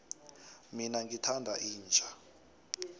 mina ngithanda inja